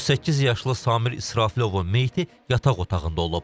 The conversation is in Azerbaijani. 38 yaşlı Samir İsrafilovun meyiti yataq otağında olub.